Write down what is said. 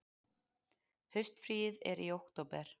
Haustfríið er í október.